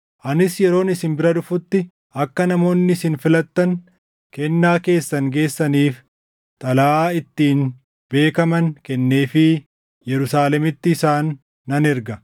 Anis yeroon isin bira dhufutti akka namoonni isin filattan kennaa keessan geessaniif xalayaa ittiin beekaman kenneefii Yerusaalemitti isaan nan erga.